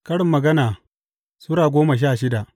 Karin Magana Sura goma sha shida